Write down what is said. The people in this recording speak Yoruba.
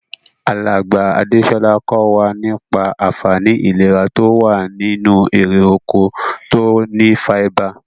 Alàgbà Adésolà ko wa nípa ànfaní ìlera to wa nínú erè oko to ni fáíbà